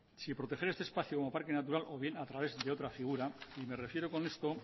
si proteger este espacio como parque natural o bien a través de otra figura y me refiero con esto